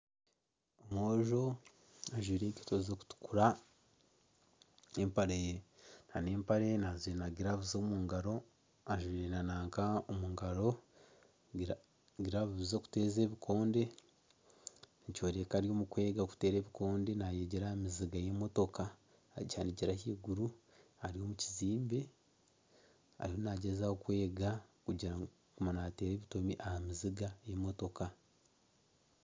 Omwojo ajwaire enkaito n'empare nana empare ajwaire giravuzi omu ngaro ajwaire nana giravuzi z'okuteera ebikonde nikyoreka ari omukwega kuteera ebikonde nayegyera aha miziga y'emotoka akihanikire ahaiguru ari omukizimbe ariyo nagyezaho kwega kugira ngu agume naateera ebitomi aha miziga y'emotoka.